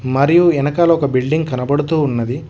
మరియు వెనకాల ఒక బిల్డింగ్ కనబడుతున్నది.